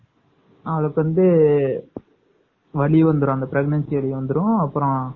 அடுத்து வந்து வலி வந்துரும் pregnancy வலி வந்துரும் professor